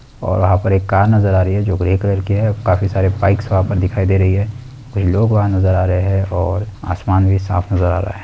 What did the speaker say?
और वहाँ पर एक कार नजर आ रही है जो ग्रे कलर की है। काफी सारे बाइक्स वहाँ पर दिखाई दे रही है। कुछ लोग वहाँ नजर आ रहे हैं और आसमान भी साफ नजर आ रहा है।